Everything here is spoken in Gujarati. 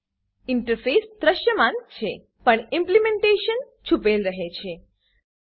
ઇન્ટરફેસ ઇન્ટરફેસ દૃશ્યમાન છે પણ ઇમ્પ્લિમેન્ટેશન ઈમ્પલીમેન્ટેશન છુપેલ રહે છે